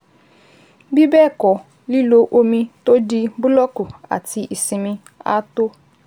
Bí bẹ́ẹ̀ kọ́, lílo omi tó di búlọ́ọ̀kù àti ìsinmi á tó